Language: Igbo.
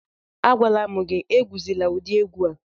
Agwala m gị, egwuzila ụdị egwu a